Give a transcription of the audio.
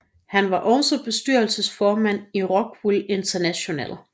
Han var også bestyrelsesformand i Rockwool International